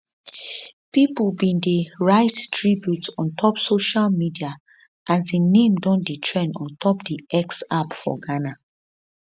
pipo bin dey write tributes on top social media as im name don dey trend on top di x app for ghana